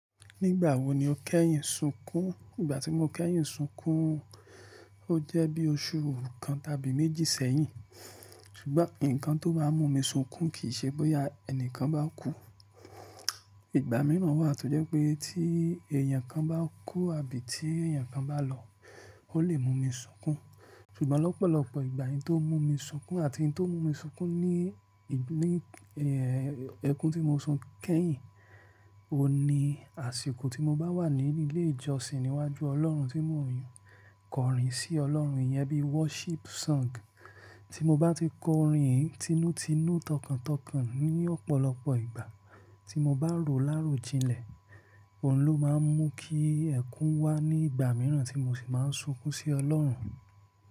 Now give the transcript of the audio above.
Nígbà wo ni o kẹ́yìn sùn kún? Ìgbà tí mo kẹ́yìn sunkún, ó jẹ́ bí oṣù kan tàbí méjì sẹ́yìn. Ṣùgbọ́n nǹkan tó máa mú mi sunkún kì í ṣe bóyá ẹnìkan bá kú. Ìgbà míràn wà tó jẹ́ pé tí èèyàn kan bá kú àbí tí èèyàn kan bá lọ, ó lè mú mi sunkún. Ṣùgbọ́n lọ́pọ̀lọpọ̀ ìgbà, ohun tó mú mi sunkún àti ohun tó mú mi sunkún ní ẹkún tí mo sunkún kẹ́yìn, òní, àsìkò tí mo bá wà ní ilé ìjọsìn níwájú Ọlọ́run tí mo ń kọrin sí Ọlọ́run yẹn bí worship song. Tí mo bá ti kọ orin yìí tinútinú tọkàntọkàn ní ọ̀pọ̀lọpọ̀ ìgbà, tí mo bá rò láròjinlẹ̀, òun ló máa ń mú kí ẹkún wá ní ìgbà mìíràn tí mo sì máa ń sunkún sí Ọlọ́run.